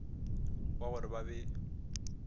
wa go re ba be